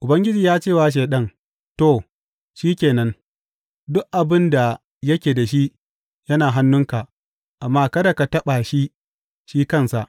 Ubangiji ya ce wa Shaiɗan, To, shi ke nan, duk abin da yake da shi yana hannunka, amma kada ka taɓa shi, shi kansa.